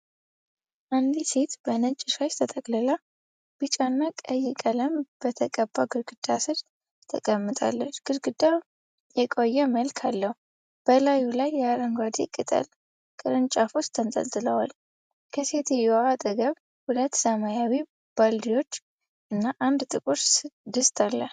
አንዲት ሴት በነጭ ሻሽ ተጠቅልላ፣ ቢጫ እና ቀይ ቀለም በተቀባ ግድግዳ ስር ተቀምጣለች። ግድግዳው የቆየ መልክ አለው፣ በላዩ ላይ የአረንጓዴ ቅጠል ቅርንጫፎች ተንጠልጥለዋል። ከሴትየዋ አጠገብ ሁለት ሰማያዊ ባልዲዎች እና አንድ ጥቁር ድስት አሉ።